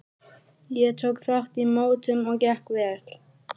Ég tók þátt í mótum og gekk vel.